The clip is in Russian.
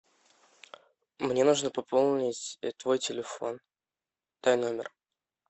мне нужно пополнить твой телефон дай номер